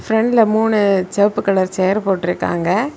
ஃப்ரண்டுல மூணு செவப்பு colour chair போட்டுருக்காங்க.